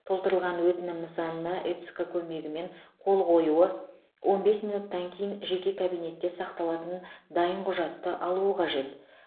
толтырылған өтінім нысанына эцқ көмегімен қол қоюы он бес минуттан кейін жеке кабинетте сақталатын дайын құжатты алуы қажет